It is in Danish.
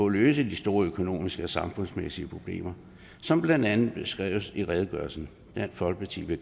løse de store økonomiske og samfundsmæssige problemer som blandt andet er beskrevet i redegørelsen dansk folkeparti vil